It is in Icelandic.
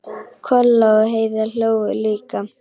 Kolla og Heiða hlógu líka.